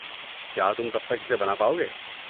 کیا تم تب تک اسے بنا پاؤ گے؟